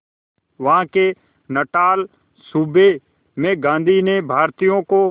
वहां के नटाल सूबे में गांधी ने भारतीयों को